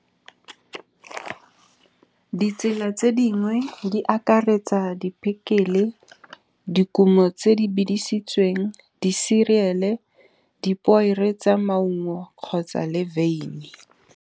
Ditsela tse dingwe di akaretsa dipekele dikumo tse di bidisitsweng di-cereal-e, di poere tsa maungo kgotsa le beini.